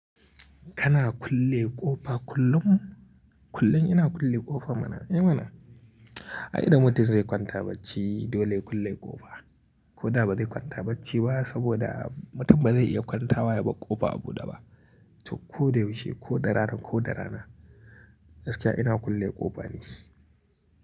Kana kulle ƙofa kullum? Kullum ina kulle ƙofa mana, eh mana. Ai da mutum zai kwanta bacci dole ya kulle ƙofa. Ko da ba zai kwanta bacci ba saboda mutum ba zai iya kwantawa bar ƙofa a buɗe ba. To ko da yaushe, ko da rana, ko da rana gaskiya ina kulle ƙofa ni.